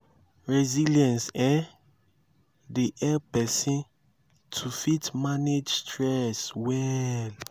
resilience um dey help person to fit manage stress well